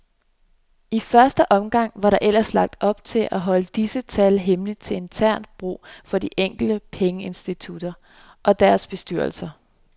I første omgang var der ellers lagt op til at holde disse tal hemmelige til internt brug for de enkelte pengeinstitutter og deres bestyrelser.